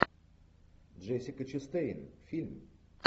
джессика честейн фильм